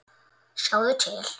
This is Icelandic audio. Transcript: Sjáðu til.